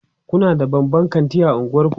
Kuna da babban kanti a unguwanku?